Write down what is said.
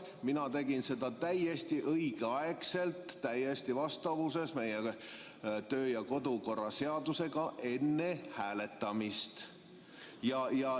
Mina tegin seda täiesti õigel ajal, vastavuses meie kodu‑ ja töökorra seadusega, enne hääletamist.